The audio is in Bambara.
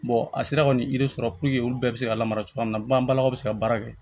a sera ka nin yiri sɔrɔ olu bɛɛ bɛ se ka lamara cogoya min na bannakaw bɛ se ka baara kɛ